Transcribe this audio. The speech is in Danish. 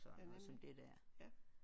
Ja nemlig ja